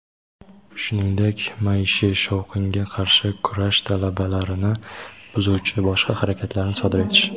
shuningdek maishiy shovqinga qarshi kurash talablarini buzuvchi boshqa harakatlarni sodir etish .